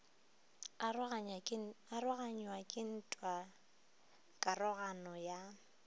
aroganywa ke ntwa karogano ya